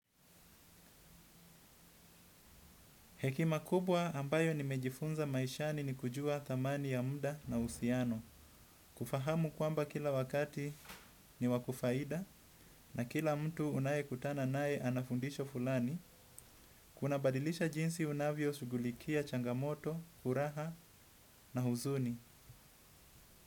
Hekima kubwa ambayo nimejifunza maishani ni kujua thamani ya mda na uhusiano. Kufahamu kwamba kila wakati ni wa kufaida na kila mtu unayekutana naye ana fundisho fulani. Kunabadilisha jinsi unavyoshugulikia changamoto, furaha na huzuni.